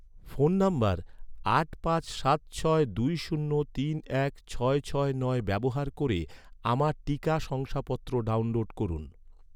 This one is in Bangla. ফোন নম্বর আট পাঁচ সাত ছয় দুই শূন্য তিন এক ছয় ছয় নয় ব্যবহার করে, আমার টিকা শংসাপত্র ডাউনলোড করুন